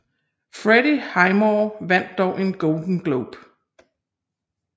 Freddie Highmore vandt dog en Golden Globe